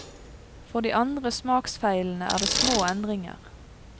For de andre smaksfeilene er det små endringer.